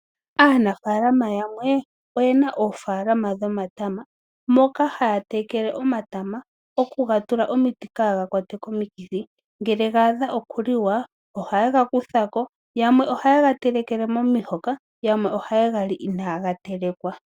Aanafaalama yamwe oyena oofaalama dhomatama, moka haya tekele omatama noku ga tula omiti kaa ga kwatwe komikithi. Ngele ga adha oku liwa ohaye ga kutha ko, yamwe ohaye ga telekele momihoka, yamwe ohaye ga li inaa ga telekwa.